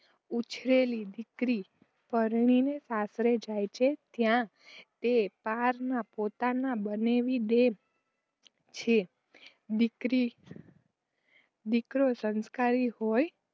ઉછરેલી દીકરી પરણીને સાસરે જાય છે ત્યાં તે પારકાંને પોતાના બનાવી દે છે. દીકરી દીકરો સંસ્કારી હોય